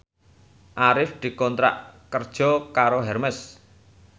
Arif dikontrak kerja karo Hermes